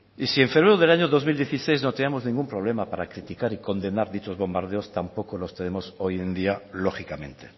y si en febrero del año dos mil dieciséis no teníamos ningún problema para criticar y condenar dichos bombardeos tampoco los tenemos hoy en día lógicamente